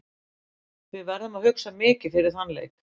Við verðum að hugsa mikið fyrir þann leik.